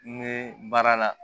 N bɛ baara la